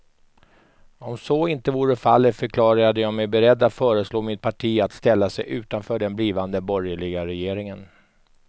Om så inte vore fallet förklarade jag mig beredd att föreslå mitt parti att ställa sig utanför den blivande borgerliga regeringen.